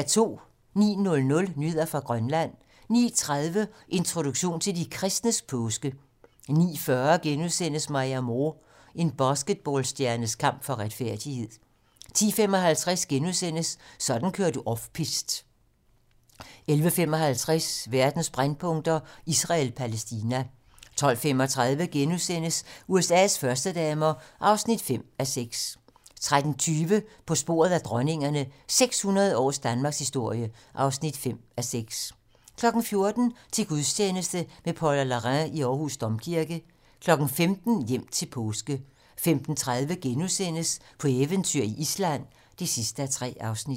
09:00: Nyheder fra Grønland 09:30: Introduktion til de kristnes påske 09:40: Maya Moore: En basketballstjernes kamp for retfærdighed * 10:55: Sådan kører du off piste * 11:55: Verdens brændpunkter: Israel-Palæstina 12:35: USA's førstedamer (5:6)* 13:20: På sporet af dronningerne - 600 års danmarkshistorie (5:6) 14:00: Til gudstjeneste med Paula Larrain i Aarhus Domkirke 15:00: Hjem til påske 15:30: På eventyr i Island (3:3)*